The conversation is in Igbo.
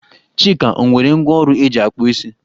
Chika o nwere ngwá ọrụ eji akpụ isi?